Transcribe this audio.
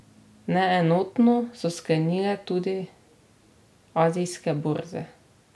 Neenotno so sklenile tudi azijske borze.